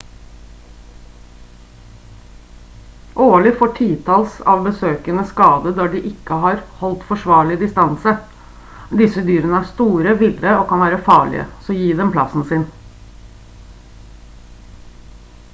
årlig får titalls av besøkende skader da de ikke har holdt forsvarlig distanse disse dyrene er store ville og kan være farlige så gi dem plassen sin